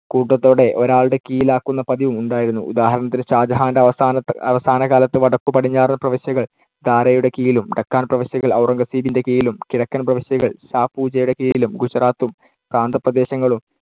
കൂട്ടത്തോടെ ഒരാളുടെ കീഴിലാക്കുന്ന പതിവും ഉണ്ടായിരുന്നു. ഉദാഹരണത്തിന് ഷാജഹാന്‍ടെ അവസാനത്ത്~ അവസാനകാലത്ത് വടക്കുപടിഞ്ഞാറൻ പ്രവിശ്യകൾ ദാരയുടെ കീഴിലും, ഡെക്കാൻ പ്രവിശ്യകൾ ഔറംഗസേബിന്‍ടെ കീഴിലും കിഴക്കൻ പ്രവിശ്യകൾ ഷാ ഷൂജയുടെ കീഴിലും ഗുജറാത്തും പ്രാന്തപ്രദേശങ്ങളും